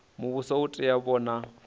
muvhuso u tea u vhona